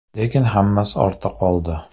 Lekin hammasi ortda qoldi.